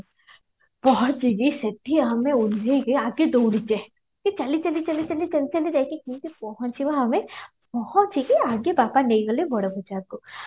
ପହଞ୍ଚିକି ସେଠି ଆମେ ଓହ୍ଲେଇକି ଆଗେ ଦଉଡିଚେ ଚାଲି ଚାଲି ଚାଲି ଚାଲି ଚାଲି ଚାଲି ଯାଇକି ପହଞ୍ଚିବା ଆମେ ପହଞ୍ଚିକି ଆଗେ ବାପା ନେଇଗଲେ ବଡ ବଜାରକୁ